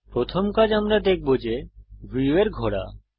প্রথম কাজ আমরা দেখব যে ভিউয়ের ঘোরা